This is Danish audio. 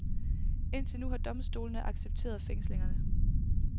Indtil nu har domstolene accepteret fængslingerne.